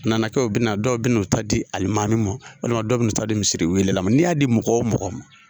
Nana kɛ o bɛna na dɔw bɛ na o ta di alimami ma walima dɔw bɛ na o ta di misiri welela ma, n'i y'a di mɔgɔ o mɔgɔ ma,